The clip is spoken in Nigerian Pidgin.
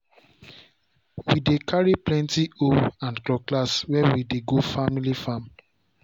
we dey carry plenty hoe and cutlass when we dey go family farm.